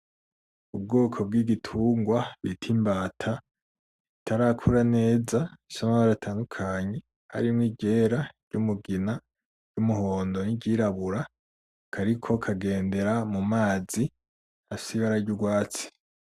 Ubwoko bw'igitungwa bita imbata itarakura neza ifise amabara atandukanye harimwo iry'era n'umugina ry'umuhondo n'iryirabura kariko kagendera mu mazi afise ibara ry,urwatsi.